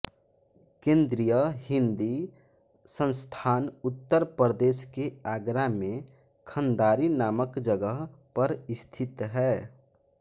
केंद्रीय हिंदी संस्थान उत्तर प्रदेश के आगरा में खंदारी नामक जगह पर स्थित है